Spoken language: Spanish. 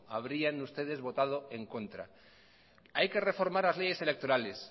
habrían ustedes votado en contra hay que reformar las leyes electorales